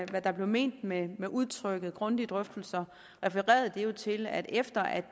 hvad der blev ment ment med udtrykket grundige drøftelser refererede det jo til at efter at